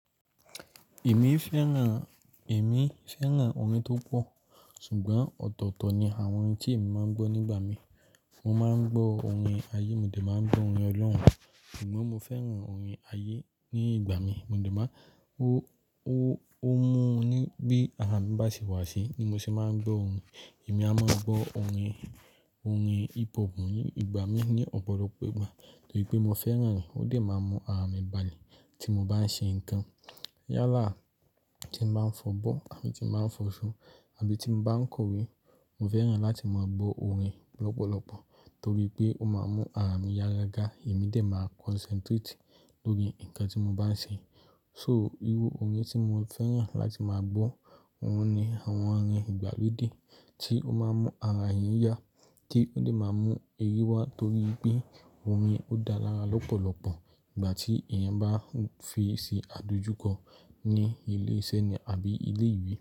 Èmi fẹ́ràn, èmi fẹ́ràn orin tó pọ̀, ṣùgbọ́n ọ̀tọ̀ọ̀tọ̀ ni àwọn orin tí èmi máa ń gbọ́ nígbà mi. Mo máa ń gbọ́ orin ayé, mo dà máa ń gbọ́ orin ọlọ́run, ṣùgbọ́n mo fẹ́ràn orin ayé ní ìgbà mi. Mo dà máa, ó, ó, ó mú ni bí ara mi bá sì wá síi ni mo ṣe máa ń gbọ́ orin. Èmi a máa gbọ́ orin, orin hip hop ní ìgbà mi ní ọ̀pọ̀lọpọ̀ ìgbà torí pé mo fẹ́ràn rẹ̀ ó dà máa ń mú ara mi balẹ̀ tí mo bá ń ṣe ǹkan. Yálà tí mo máa ń fọ abọ́ àti tí mo máa ń fọ ṣo àbí tí mo bá ń kọ̀wé, mo fẹ́ràn láti máa gbọ́ orin lọ́pọ̀lọpọ̀ torí pé ó máa ń mú ara mi yá ga ga, èmi dà máa concentrate lórí ǹkan tí mo bá ń ṣe. So irú orin tí mo fẹ́ràn láti máa gbọ́, òun ni àwọn orin ìgbàlódé tí ó máa ń mú ara èèyàn yá, tí ó dà máa ń mú eyí wá torí pé orin ó dára lọ́pọ̀lọpọ̀ ìgbà tí èèyàn bá face àdojúkọ ní ilé iṣẹ́ ni àbí ilé ìwé.